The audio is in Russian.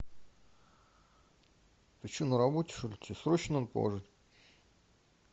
ты че на работе что ли тебе срочно надо положить